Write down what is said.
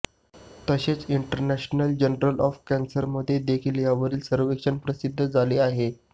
तसेच international journal of कॅन्सरमध्ये देखील यावरील सर्वेक्षण प्रसिद्ध झाले आहे